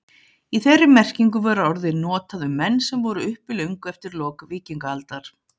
Í þeirri merkingu var orðið notað um menn sem voru uppi löngu eftir lok víkingaaldar.